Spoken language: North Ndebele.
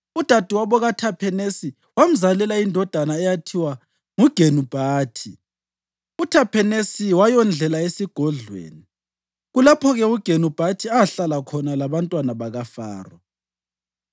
Udadewabo kaThaphenesi wamzalela indodana eyathiwa nguGenubhathi. UThaphenesi wayondlela esigodlweni, kulapho-ke uGenubathi ahlala khona labantwana bakaFaro.